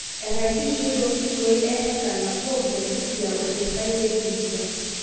enkaisiishoi toorkiloi e ha nabo te Busia o the site e Vihiga